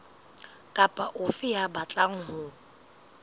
kapa ofe ya batlang ho